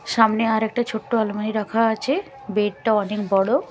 সামনে আরেকটা ছোট্ট আলমারি রাখা আছে বেড -টা অনেক বড়।